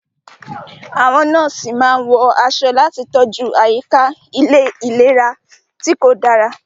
Àwọn nọ́ọ̀sì máa ń wọ aṣọ láti tọ́jú àyíká ìlera tí kò dára.